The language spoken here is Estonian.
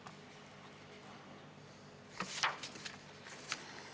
Tähendab, kui see on strateegias ette nähtud aastast 2020, siis võib-olla sinnapoole järgmisel aastal liigutakse.